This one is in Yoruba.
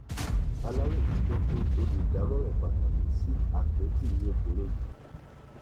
aláròye gbọ pé olùdámọràn pàtàkì sí àkẹtì ni obìnrin yìí